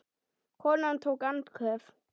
Konan tók andköf.